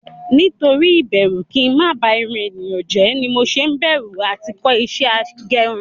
Nítorí ibẹru kí ń má ba irun èèyàn jẹ́ ni mo ṣe ń bẹ̀rù à ti kọ́ ìṣe agẹrun